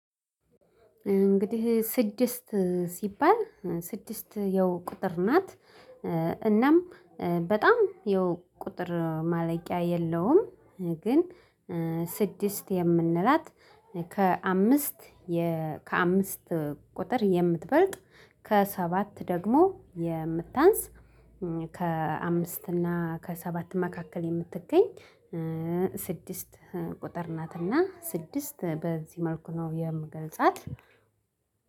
እንግዲህ ስድስት ሲባል ስድስት ያው ቁጥር ናት እናም በጣም ያው ቁጥር ማለቂያ የለውም። ግን ስድስት የምንላት ከአምስት የ ከአምስት ቁጥር የምትበልጥ ከሰባት ደግሞ የምታንስ ከአምስት እና ከሰባት መካከል የምትገኝ ስድስት ቁጥር ናት። እና ስድስት በዚህ መልኩ ነው የምገልጻት።